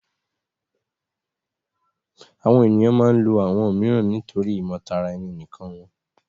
Awọn eniyan maa ǹ lo awọn miiran nitori imotaraeninikan wọn